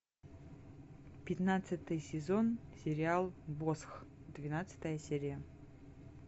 пятнадцатый сезон сериал босх двенадцатая серия